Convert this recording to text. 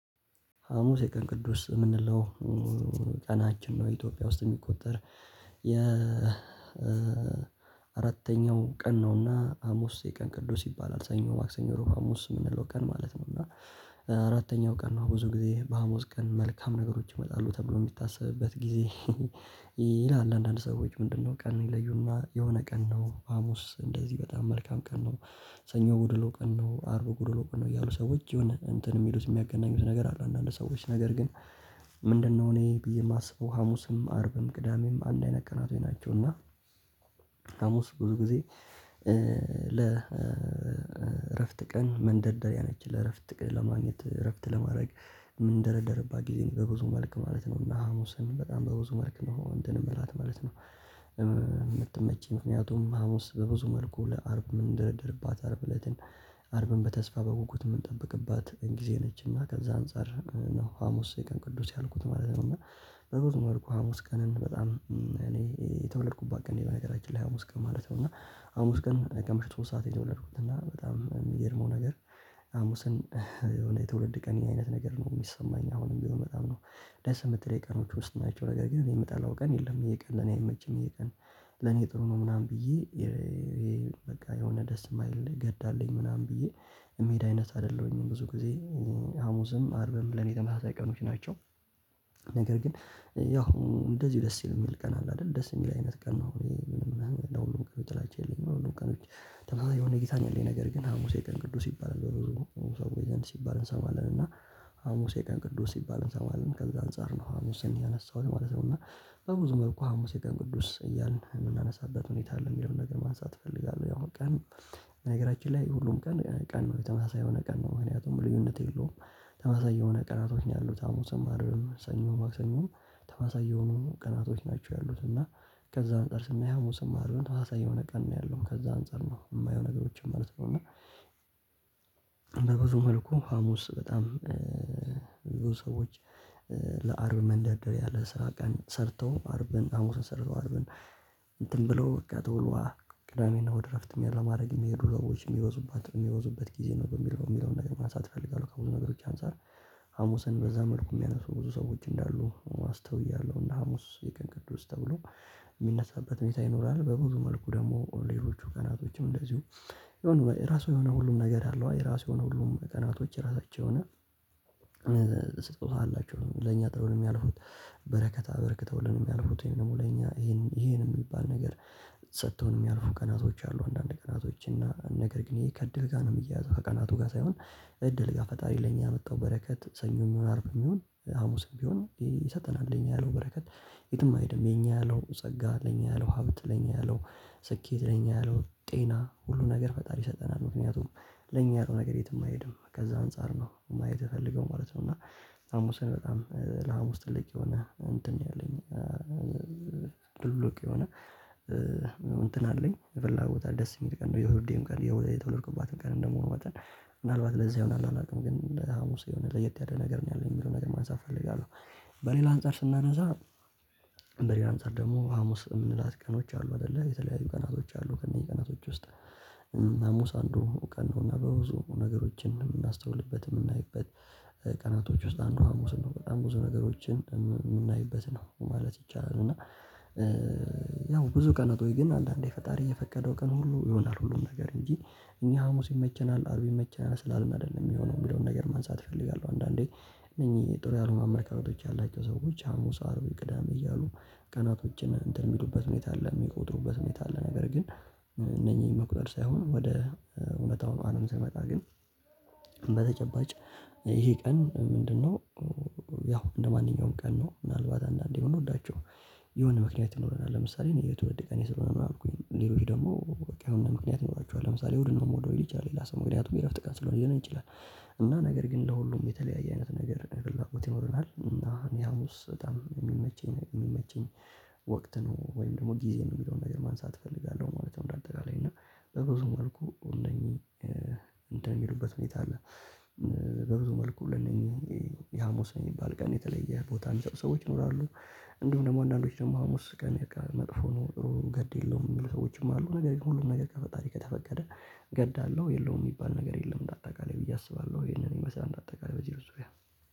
ሀሙስ የቀን ቅዱስ የምንለው ቀናችን ነው። ኢትዮጵያ ውስጥ የሚቆጠር የ አራተኛው ቀን ነውና ሀሙስ የቀን ቅዱስ ይባላል። ሰኞ ማክሰኞ እሮብ ሀሙስ የምንለው ቀን ማለት ነው። እና አራተኛው ቀን ነው ብዙ ጊዜ በሀሙስ ቀን መልካም ነገሮች ይመጣሉ ተብሎ የሚታሰብበት ጊዜ። ይላል አንዳንድ ሰዎች ምንድነው? ቀን ይለዩና የሆነ ቀን ነው ሀሙስ እንደዚህ በጣም መልካም ቀን ነው። ሰኞ ጎዶሎ ቀን ነው አርብ ጎዶሎ ቀን ነው ያሉ ሰዎች የሆን እንትን የሚሉት የሚያገናኙት ነገር አለ። አንዳንድ ሰዎች ነገር ግን ምንድነው? እኔ ብዬ የማስበው ሀሙስም አርብም ቅዳሜም አንድ አይነት ቀናቶች ናቸው። እና ሀሙስ ብዙ ጊዜ ለ እረፍት ቀን መንደርደሪያ ነች ለእረፍት ለማግኘት እረፍት ለማድረግ የምንደረደርባት ጊዜ በብዙ መልክ ማለት ነው። እና ሀሙስን በጣም በብዙ መልክ ነው እንትን የምላት ማለት ነው። የምትመይቸኝ ምክንያቱም ሀሙስ በብዙ መልኩ ለአርብ ምን ደረደርባት አርብ እለትን አርብን በተስፋ በጉጉት የምንጠብቅባት ጊዜ ነችና ከዛ አንፃር ነው ሀሙስ የቀን ቅዱስ ያልኩት ማለት ነው። እና በብዙ መልኩ ሀሙስ ቀንን በጣም እኔ የተወለድኩባት ቀን ነች። በነገራችን ላይ ሀሙስ ቀን ማለት ነው። እና ሀሙስ ቀን ከምሽት ሶስት ሰዓት የተወለድኩት እና በጣም የሚገርመው ነገር የትውልድ ቀንዬ አይነት ነገር ነው የሚሰማኝ አሁንም ቢሆን በጣም ነው። ደስ የምትለኝ ቀኖች ውስጥ ናቸው ነገር ግን የምጣላው ቀን የለም። ዩሄ ቀን ለኔ አይመችኝም ይሄ ቀን። ለኔ ጥሩ ነው ምናምን ብዬ በቃ የሆነ ደስ የማይል ነገር አለኝ ምናምን ብዬ ሜዳ አይነት አይደለሁኝም። ብዙ ጊዜ ሀሙስም አርብም ብለን የተመሳሳይ ቀኖች ናቸው። ነገር ግን ያው እንደዚው ደስ የሚል ቀን አለ አይደል? ደስ የሚል አይነት ቀን ነው ወይ? ምንም ለሁሉም ቀን ትላለች የለም ሁሉም ቀኖች የሆነ ጊታን ያለኝ ነገር ግን ሀሙስ የቀን ቅዱስ ይባላል። በኖሩ ሀሙስ ወይዘን ሲባል እንሰማለን እና ሀሙስ የቀን ቅዱስ ሲባል እንሰማለን። ከዛ አንፃር ነው ሀሙስን ያነሳሁት ማለት ነው። እና በብዙ መልኩ ሀሙስ የቀን ቅዱስ እያልን የምናነሳበት ሁኔታ አለ የሚለውን ነገር ማንሳት እፈልጋለሁ። ያው ቀን በነገራችን ላይ ሁሉም ቀን ቀን የተማሳ ተመሳሳይ የሆነ ቀን ነው። ምክንያቱም ልዩነት የለውም። ተመሳሳይ የሆነ ቀን አቶኛለሁ አሙስም አርም ሰኞም አክሰኞም ተባሳየውንም ቀናቶች ናቸው። ያሉት እና ከዛ አንፃር ስናየው ሰማርያውን ተዋሳይ የሆነ ቀን ነው ያለው ከዛ አንፃር ነው የማየው ነገሮችን ማለት ነው። እና በብዙ መልኩ ሀሙስ በጣም ብዙ ሰዎች ለአርብ መንደር ያለ ስራ ቀን ሰርተው አርብን ሀሙስን ሰርተው አርብን እንትን ብሎ በቃ ትውልዋ ቅዳሜና ወደ እረፍትም ያለማድረግ የሚሄዱ ለውጭ የሚወዙበት የሚወዙበት ጊዜ ነው። በሚለው የሚለውን ነገር ማንሳት እፈልጋለሁ። ከብዙ ነገሮች አንፃር ሀሙስን በዛ መልኩ የሚያነሱ ብዙ ሰዎች እንዳሉ አስተውያለሁ። እና ሀሙስ የቀን ቅዱስ ተብሎ የሚነሳበት መኝታ ይኖራል። በብዙ መልኩ ደግሞ ሌሎቹ ቀናቶችም እንደዚሁ የሆነ ራሱ የሆነ ሁሉም ነገር አለው። የራሱ የሆነ ሁሉም ቀናቶች ራሳቸው የሆነ ስጡሃላችሁ ለኛ ጥሩንም ያልፉት በረከታ በረከተውልንም የሚያልፉት ይሄንን ደግሞ ለኛ ይሄንን የሚባል ነገር ሰጥተውን የሚያልፉ ቀናቶች አሉ። አንዳንድ ቀናቶች እና ነገር ግን ይሄ ከእድል ጋር ነው የሚያያዘው። ከቀናቱ ጋር ሳይሆን። እድል ጋር ፈጣሪ ለኛ ያመጣው በረከት ሰኞ የሚሆን አርብ የሚሆን ሀሙስም ቢሆን ይሰጠናል። የኛ ያለው በረከት የትም አይሄድም። የኛ ያለው ጸጋ ለኛ ያለው ሀብት ለኛ ያለው ስኬት ለኛ ያለው ጤና ሁሉ ነገር ፈጣሪ ሰጠናል። ምክንያቱም ለእኛ ያለው ነገር የት የማይሄድ ከዛ አንፃር ነው ማየት የተፈለገው ማለት ነው። እና ሀሙስን በጣም ለሀሙስ ውስጥ ልቅ የሆነ እንትን ያለኝ ልልቅ የሆነ እንትን አለኝ የፈላ ቦታ ደስ የሚል ቀን ነው። የውዴም ቀን የተወለድኩባት ቀን እንደመሆኑ መጠን ምናልባት ለዚህ አላላልቅም ግን ሀሙስ የሆነ ለየት ያለ ነገር ነው ያለኝ የሚለውን ነገር ማንሳት እፈልጋለሁ። በሌላ አንፃር ስናነሳ እንደ ሌላ አንፃር ደግሞ ሀሙስ የምንላት ቀኖች አሉ አይደለ የተለያዩ ቀናቶች አሉ። ከእነዚህ ቀናቶች ውስጥ ሀሙስ አንዱ ቀን ነውና በብዙ ነገሮችን የምናስተውልበት የምናይበት ቀናቶች ውስጥ አንዱ ሀሙስ ነው። በጣም ብዙ ነገሮችን የምናይበት ነው ማለት ይቻላል። እና ያው ብዙ ቀን ነጥቦኝ ግን አንዳንዴ ፈጣሪ የፈቀደው ቀን ሁሉ ይሆናል ሁሉም ነገር እንጂ እኛ ሀሙስ ይመቸናል አርብ ይመቸናል ስላልመደለ የሚሆነውን ብለው ነገር ማንሳት እፈልጋለሁ። አንዳንዴ እነኚህ ጥሩ ያልሆኑ አማካኝነቶች ያላቸው ሰዎች ሀሙስ አርቡይ ቅዳሜ እያሉ ቀናቶችን እንትን የሚሉበት ሁኔታ አለ። የሚቆጥሩበት ሁኔታ አለ። ነገር ግን እነኚህን መቁጠር ሳይሆን ወደ እውነታው አለም ሳይመጣ ግን ይሄ ቀን ምንድነው? ያው እንደማንኛውም ቀን ነው። ምናልባት አንዳንዴ እንደሆነ እንወዳቸው የሆነ ምክንያት ይኖረናል ለምሳሌ እኔ የተወደቀኝ ስለሆነ ነው። የማልኩኝ እኔ ልሩኝ ደግሞ በቃ አሁን ምንድነው ምክንያት ይኖራቸዋል። ለምሳሌ ውድ ነው ወደ ወደ ሌላ ሰው ምክንያቱም የእረፍት ቀን ስለሆነ ይችላል። እና ነገር ግን ለሁሉም የተለያየ አይነት ነገር ብላኩት ይኖርናል። እና እኔ ሀሙስ በጣም የሚመቸኝ ወቅት ነው ወይም ደግሞ ጊዜ የሚለውን ነገር ማንሳት እፈልጋለሁ ማለት ነው። እንደ አጠቃላይ እና በብዙ መልኩ እነኚህ እንደሚሄድበት ሁኔታ አለ። በብዙ መልኩ ለኔ የሀሙስ የሚባል ቀን የተለየ ቦታ ሰዎች ይኖራሉ። እንዲሁም ደግሞ አንዳንዶች ደግሞ ሀሙስ ቀሚቃ መጥፎ ነው ጥሩ ገድ የለውም የሚሉ ሰዎችም አሉ። ነገር ግን ሁሉም ነገር ከፈጣሪ ከተፈቀደ ገዳለሁ የለውም የሚባል ነገር የለም። እንዳታውቃለሁ ብዬ አስባለሁ ይሄንን ይመስላል እንዳጠቃላይ በዚህ ርዝብያ።